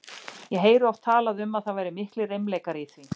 Ég heyrði oft talað um að það væru miklir reimleikar í því.